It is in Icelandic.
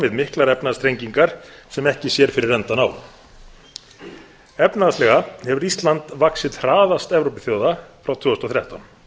við miklar efnahagsþrengingar sem ekki sér fyrir endann á efnahagslega hefur ísland vaxið hraðast evrópuþjóða frá tvö þúsund og þrettán